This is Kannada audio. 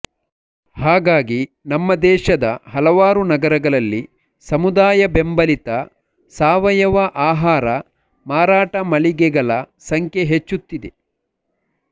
ಹಾಗಾಗಿ ನಮ್ಮ ದೇಶದ ಹಲವಾರು ನಗರಗಳಲ್ಲಿ ಸಮುದಾಯಬೇಂಬಲಿತ ಸಾವಯವ ಆಹಾರ ಮಾರಾಟ ಮಳಿಗೆಗಳ ಸಂಖ್ಯೆ ಹೆಚ್ಚುತ್ತಿದೆ